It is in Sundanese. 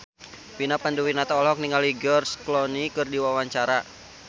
Vina Panduwinata olohok ningali George Clooney keur diwawancara